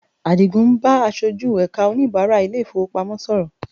Àdìgún ń bá aṣojú ẹ̀ka oníbàrá ilé-ìfowópamọ́ sọ̀rọ̀